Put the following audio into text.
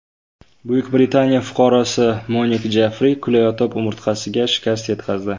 Buyuk Britaniya fuqarosi Monik Jeffri kulayotib umurtqasiga shikast yetkazdi.